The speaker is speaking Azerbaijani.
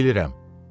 Mən bilirəm.